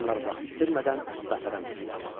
Onlar vaxt itirmədən qatara mindilər.